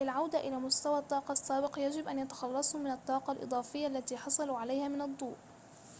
للعودة إلى مستوى الطاقة السابق يجب أن يتخلصوا من الطاقة الإضافية التي حصلوا عليها من الضوء